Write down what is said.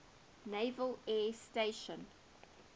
naval air station